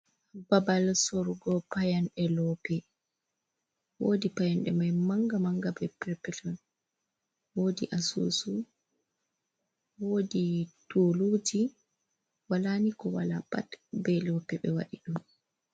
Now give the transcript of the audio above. Babal sorugo Payanɗe lope. wodi payande mai manga manga, be prepeter. Wodi asusu, wodi tuluji, wala ni ko wala pat be loope be wadi dum.